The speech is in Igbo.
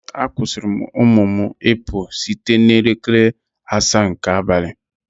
A kwụsịrị ụmụ m ịpụ site n'elekere asaa nke abalị